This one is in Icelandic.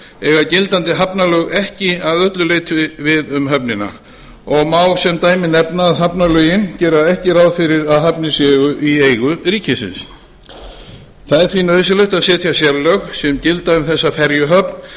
eiga gildandi hafnalög ekki að öllu leyti um höfnina og má sem dæmi nefna að hafnalögin gera ekki ráð fyrir að hafnir séu í eigu ríkisins það er því nauðsynlegt að setja sérlög sem gilda um þessa ferjuhöfn